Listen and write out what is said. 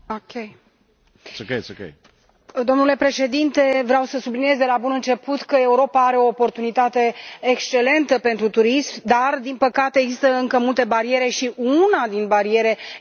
Domnule Președinte, vreau să subliniez de la bun început că Europa are o oportunitate excelentă pentru turism, dar din păcate, există încă multe bariere, și una din bariere era și această directivă învechită.